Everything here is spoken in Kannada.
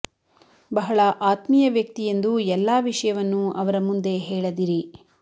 ಬಹಳ ಆತ್ಮೀಯ ವ್ಯಕ್ತಿ ಎಂದು ಎಲ್ಲಾ ವಿಷಯವನ್ನು ಅವರ ಮುಂದೆ ಹೇಳದಿರಿ